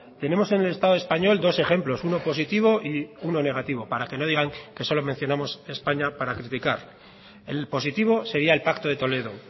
tenemos en el estado español dos ejemplos uno positivo y uno negativo para que no digan que solo mencionamos españa para criticar el positivo sería el pacto de toledo